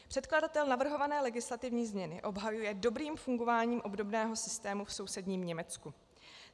Předkladatel navrhované legislativní změny obhajuje dobrým fungováním obdobného systému v sousedním Německu.